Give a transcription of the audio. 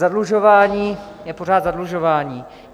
Zadlužování je pořád zadlužování.